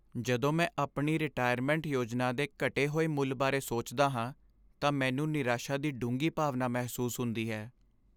ਜਦੋਂ ਮੈਂ ਆਪਣੀ ਰਿਟਾਇਰਮੈਂਟ ਯੋਜਨਾ ਦੇ ਘਟੇ ਹੋਏ ਮੁੱਲ ਬਾਰੇ ਸੋਚਦਾ ਹਾਂ ਤਾਂ ਮੈਨੂੰ ਨਿਰਾਸ਼ਾ ਦੀ ਡੂੰਘੀ ਭਾਵਨਾ ਮਹਿਸੂਸ ਹੁੰਦੀ ਹੈ।